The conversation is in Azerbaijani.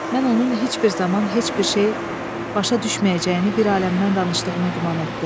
Mən onun heç bir zaman heç bir şey başa düşməyəcəyini bir aləmdən danışdığımı güman etdim.